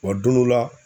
Wa don dɔ la